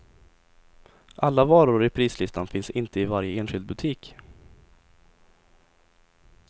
Alla varor i prislistan finns inte i varje enskild butik.